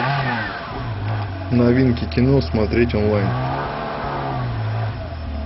новинки кино смотреть онлайн